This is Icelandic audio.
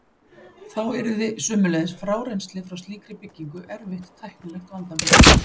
Þá yrði sömuleiðis frárennsli frá slíkri byggingu erfitt tæknilegt vandamál.